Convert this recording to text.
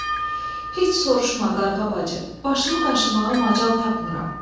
Heç soruşma, qarğa bacı, başımı qaşımağa macal tapmıram.